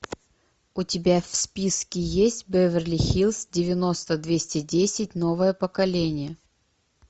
у тебя в списке есть беверли хиллз девяносто двести десять новое поколение